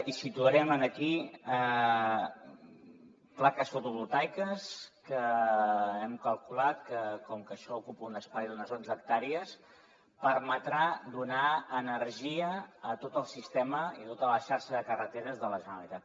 hi situarem aquí plaques fotovoltaiques que hem calculat que com que això ocupa un espai d’unes onze hectàrees permetrà donar energia a tot el sistema i tota la xarxa de carreteres de la generalitat